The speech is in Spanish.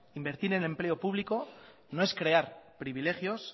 invertir en empleo público no es crear privilegios